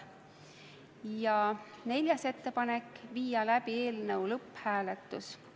Ja neljas ettepanek: viia läbi eelnõu lõpphääletus.